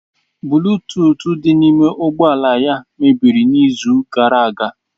Buluutuut di n'ime ụgbọ ala ya mebiri n'izu gara aga.